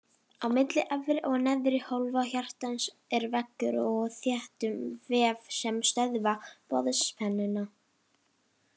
Á milli efri og neðri hólfa hjartans er veggur úr þéttum vef sem stöðva boðspennuna.